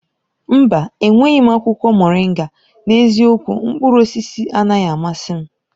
Mba! Enweghị m akwụkwọ moringa. N'eziokwu, mkpụrụ osisi anaghị amasị m.